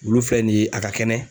Olu filɛ nin ye a ka kɛnɛ.